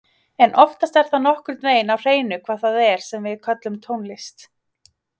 En oftast er það nokkurn veginn á hreinu hvað það er sem við köllum tónlist.